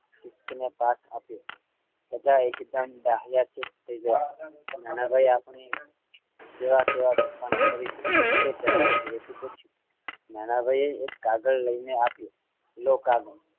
pass આપ્યો બધા એકદમ ડાહ્યા ચૂપ થઈ ગયા નાના ભાઈ આપણે કેવા કેવા તોફાનું કરીશું એક બે જણાએ ધીરેથી પુછ્યું નાનાભાઈએ એક કાગળ લઈને આપ્યું લો કાગળ